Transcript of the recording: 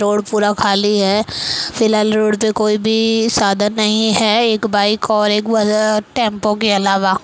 road पूरा खाली है फिलहाल रोड में कोई भी साधन नहीं है एक बाइक और एक टेम्पो के अलावा --